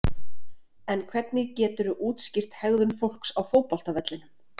En hvernig geturðu útskýrt hegðun fólks á fótboltavellinum?